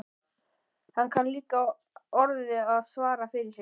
Hann kann líka orðið að svara fyrir sig.